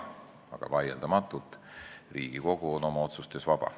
Aga vaieldamatult on Riigikogu oma otsustes vaba.